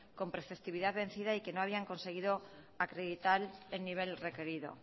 con preceptividad vencida y que no había conseguido acreditar el nivel requerido